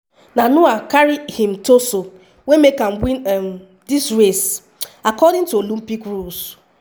na noah carry im ‘torso’ wey make am win um dis race; according to olympic rules.